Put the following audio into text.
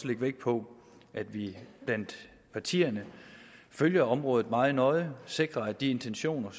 lægge vægt på at vi blandt partierne følger området meget nøje og sikrer at de intentioner